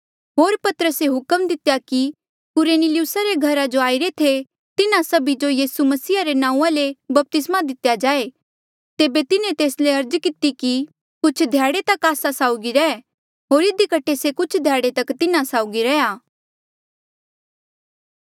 होर पतरसे हुक्म दितेया कि कुरनेलियुसा रे घरा जो आईरे थे तिन्हा सभी जो यीसू मसीहा रे नांऊँआं ले बपतिस्मा दितेया जाए तेबे तिन्हें तेस ले अर्ज किती कि कुछ ध्याड़े तक आस्सा साउगी रैह होर इधी कठे से कुछ ध्याड़े तक तिन्हा साउगी रेहा